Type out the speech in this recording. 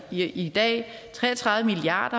i dag tre og tredive milliard